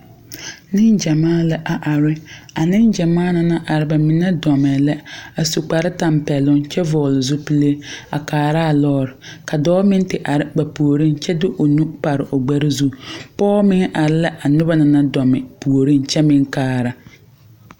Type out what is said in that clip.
Neŋ gyamaa la are a neŋ gyamaa na na are ba mine dɔmɛɛ la su kparetapɛloŋ kyɛ vɔɔle zupile a kaaraa lɔɔre ka dɔɔ meŋ te are ba puoriŋ kyɛ de o nu pare o gbɛre zu pɔɔ meŋ are la a noba na naŋ dɔme puoriŋ kyɛ meŋ kaara.